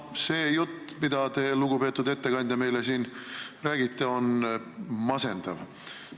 See jutt, mida te, lugupeetud ettekandja, meile siin räägite, on masendav.